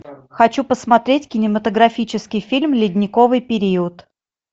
хочу посмотреть кинематографический фильм ледниковый период